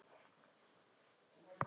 Bara hafa þig hæga, vina.